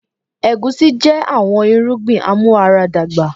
Egusi jẹ awọn irugbin amuaradagba